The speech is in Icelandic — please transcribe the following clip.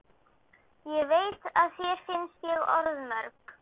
Ég veit að þér finnst ég orðmörg.